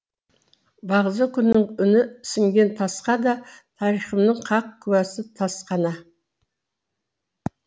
бағзы күннің үні сіңген тасқа да тарихымның хақ куәсі тас ғана